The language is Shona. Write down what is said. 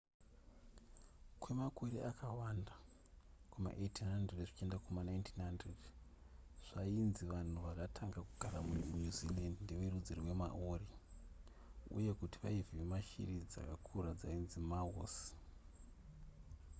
kwemakore akawanda kuma1800 zvichienda kuma1900 zvainzi vanhu vakatanga kugara kunew zealand ndeverudzi rwechimaori uye kuti vaivhima shiri dzakakura dzinonzi moas